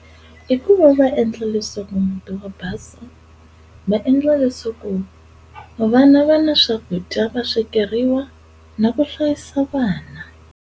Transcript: I ku va va endla leswaku muti wa basa va endla leswaku vana va na swakudya va swekeriwa na ku hlayisa vana.